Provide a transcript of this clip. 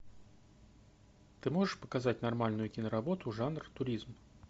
ты можешь показать нормальную киноработу жанр туризм